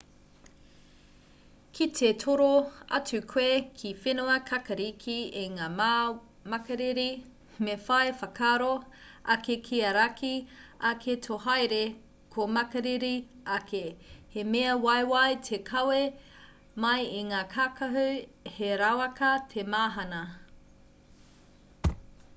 ki te toro atu koe ki whenua kākāriki i ngā wā makariri me whai whakaaro ake kia raki ake tō haere ka makariri ake he mea waiwai te kawe mai i ngā kākahu he rawaka te mahana